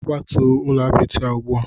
Kwatuo ụlọ apịtị a ugbu a!